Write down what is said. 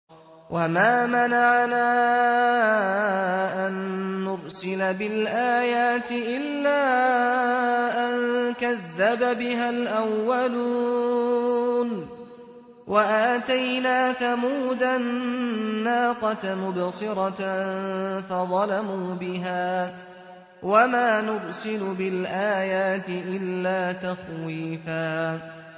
وَمَا مَنَعَنَا أَن نُّرْسِلَ بِالْآيَاتِ إِلَّا أَن كَذَّبَ بِهَا الْأَوَّلُونَ ۚ وَآتَيْنَا ثَمُودَ النَّاقَةَ مُبْصِرَةً فَظَلَمُوا بِهَا ۚ وَمَا نُرْسِلُ بِالْآيَاتِ إِلَّا تَخْوِيفًا